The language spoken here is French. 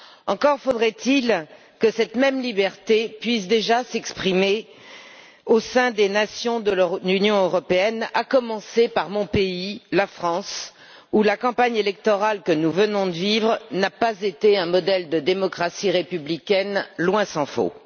Encore faudrait il que cette même liberté puisse déjà s'exprimer au sein des nations de l'Union européenne, à commencer par mon pays, la France, où la campagne électorale que nous venons de vivre n'a pas été un modèle de démocratie républicaine, loin s'en faut.